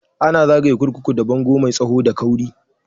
Ana zagaye kurkuku da bango mai tsawo da kauri